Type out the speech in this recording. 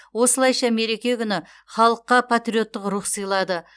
осылайша мереке күні халыққа патриоттық рух сыйлады